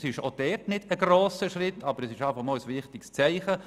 Es ist auch hier kein grosser Schritt, aber ein wichtiges Zeichen.